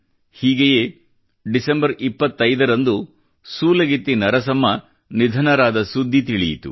ಹೀಗೆಯೇ ಡಿಸೆಂಬರ್ 25 ರಂದು ಸೂಲಗಿತ್ತಿ ನರಸಮ್ಮ ನಿಧನರಾದ ಸುದ್ದಿ ತಿಳಿಯಿತು